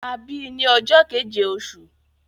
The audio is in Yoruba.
A bí i ní ọjọ́ keje oṣù